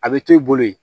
A bɛ to i bolo ye